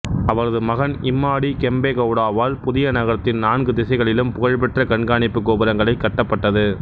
அவரது மகன் இம்மாடி கெம்பே கவுடாவால் புதிய நகரத்தின் நான்கு திசைகளிலும் புகழ்பெற்ற கண்காணிப்பு கோபுரங்களைக் கட்டப்பட்டது